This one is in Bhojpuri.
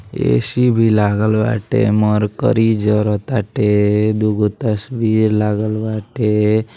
ए.सी. भी लागल बाटे मरकरी जरताटे दुगो तस्वीर लागल बाटे।